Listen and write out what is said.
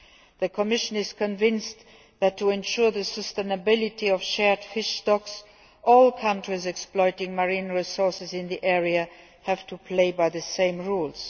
The Commission is convinced that, to ensure the sustainability of shared fish stocks, all countries exploiting marine resources in the area have to play by the same rules.